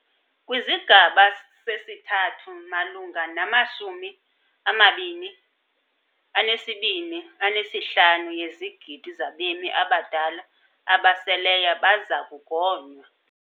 KwisiGaba sesiThathu, malunga ne-22.5 yezigidi zabemi abadala abaseleyo baza kugonywa.